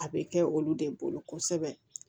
A bɛ kɛ olu de bolo kosɛbɛ